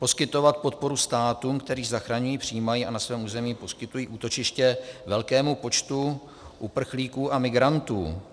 Poskytovat podporu státům, které zachraňují, přijímají a na svém území poskytují útočiště velkému počtu uprchlíků a migrantů.